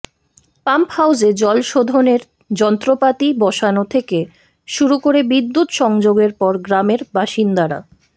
pump হাউসে জল শোধনের যন্ত্রপাতি বসানো থেকে শুরু করে বিদ্যুৎ সংযোগের পর গ্রামের বাসিন্দারা